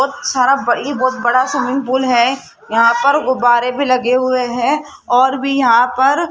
सारा बड़ा swimming pool है यहां पर गुब्बारे भी लगे हुए है और भी यहां पर --